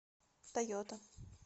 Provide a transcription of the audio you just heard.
тойота